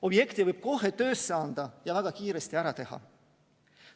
Objekti võib kohe töösse anda ja väga kiiresti ära teha.